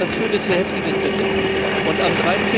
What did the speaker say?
Das führte zu heftiger Kritik und am